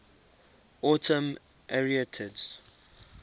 autumn arietids